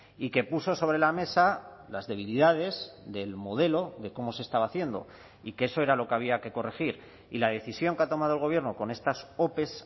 y que puso sobre la mesa las debilidades del modelo de cómo se estaba haciendo y que eso era lo que había que corregir y la decisión que ha tomado el gobierno con estas ope